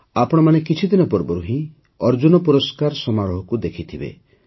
ଆପଣମାନେ କିଛିଦିନ ପୂର୍ବରୁ ହିଁ ଅର୍ଜୁନ ପୁରସ୍କାର ସମାରୋହକୁ ମଧ୍ୟ ଦେଖିଥିବେ